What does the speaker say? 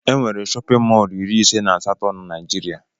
E nwere shóppin mol iri ise nà asato n'naijiria